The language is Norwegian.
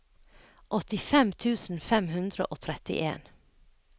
åttifem tusen fem hundre og trettien